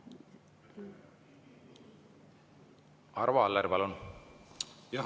Arvo Aller, palun!